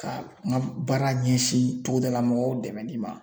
Ka n ka baara ɲɛsin togoda mɔgɔw dɛmɛli ma.